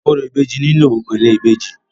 Orò ìbejì máa nílò ère ìbejì.